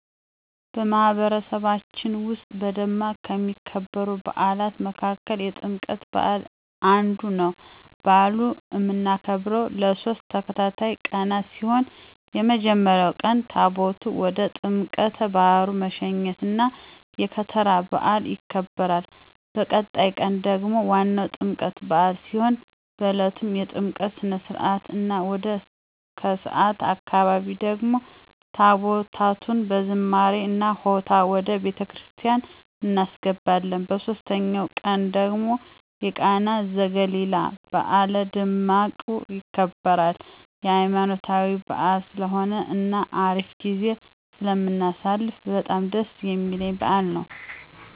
በማህበረሰባችን ዉስጥ በደማቁ ከሚከበሩ በዓላት መካከል የጥምቀት በዓል አንዱ ነው። በአሉን እምናከብረው ለሶስት ተከታታይ ቀን ሲሆን በመጀመሪያው ቀን ታቦታቱን ወደ ጥምቀተ ባህሩ መሸኘት እና የከተራ በዓል ይከበራል። በቀጣዩ ቀን ደግሞ ዋናው የጥምቀት በዓል ሲሆን በእለቱም የጥምቀት ስነ-ስርዓት እና ወደ ከሰዓት አካባቢ ደግሞ ታቦታቱን በዝማሬ እና ሆታ ወደ ቤተክርስቲያን እናስገባለን። በሶስተኛው ቀን ደግሞ የቃና ዘገሊላ በዓል በደማቁ ይከበራል። ሃይማኖታዊ በዓል ስለሆነ እና አሪፍ ጊዜ ስለምናሳልፍ በጣም ደስ እሚለኝ በዓል ነው።